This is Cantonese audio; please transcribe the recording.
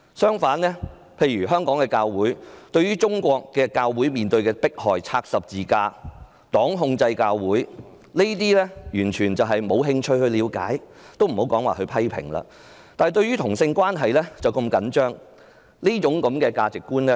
香港的教會對於中國教會面對的迫害，包括拆十字架、黨控制教會等完全沒有興趣了解，也莫說批評了，但對於同性關係卻如此着緊。